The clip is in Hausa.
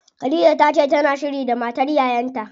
Khadija tace tana shiri da matar yayan ta.